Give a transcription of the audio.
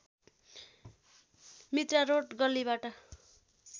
Mitra road गल्लीबाट